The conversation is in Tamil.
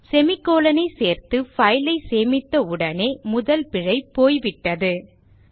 semi colon ஐ சேர்த்து file ஐ சேமித்த உடனே முதல் பிழை போய்விட்டது என்பதை கவனிக்கவும்